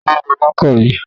Taló lo máàkà mi?